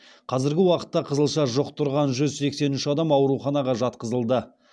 қазіргі уақытта қызылша жұқтырған жүз сексен үш адам ауруханаға жатқызылды